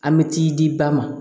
An bɛ t'i di ba ma